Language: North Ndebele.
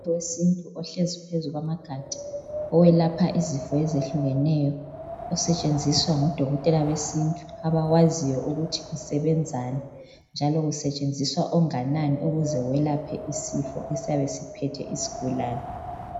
Umuthi wesintu ohlezi phezu kwamagadi ,oyelapha izifo ezehlukeneyo . Osetshenziswa ngodokotela besintu , abawaziyo ukuthi usebenzani njalo kusetshenziswa onganani ukuze welaphe isifo esiyabe siphethe isigulane.